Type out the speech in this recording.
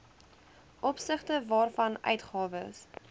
opsigte waarvan uitgawes